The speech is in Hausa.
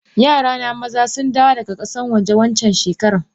Yarana maza sundawo daga kasan waje wancan shekaran.